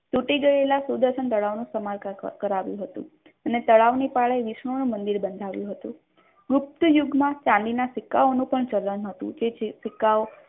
તૂટી ગયેલા સુદર્શન તળાવનું સમારકામ કરાવ્યું હતું અને તળાવની પાળે વિષ્ણુનું મંદિર બંધાવ્યું હતું ગુપ્ત યુગમાં ચાંદીના સિક્કાઓનું પણ ચલણ હતું કે જે પછી તે સિક્કાઓ